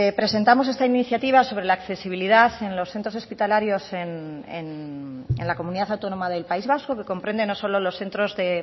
presentamos esta iniciativa sobre la accesibilidad en los centros hospitalarios en la comunidad autónoma del país vasco que comprende no solo los centros de